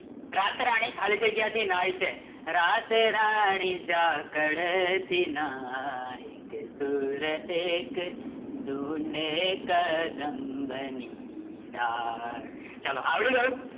રાતરાણી ખાલી જગ્યા થી નહાય છે